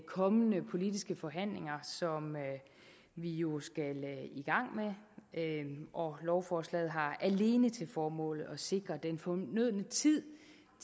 kommende politiske forhandlinger som vi jo skal i gang med og lovforslaget har alene til formål at sikre den fornødne tid